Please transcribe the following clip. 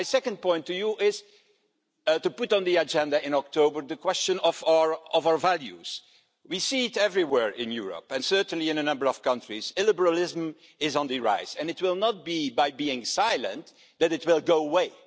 My second point to you is to put on the agenda in October the question of our values. We see it everywhere in Europe and certainly in a number of countries illiberalism is on the rise, and it will not be by being silent that it will go away.